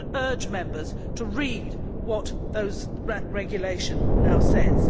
I would urge Members to read what that regulation now says.